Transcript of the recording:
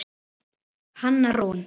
Hanna Rún.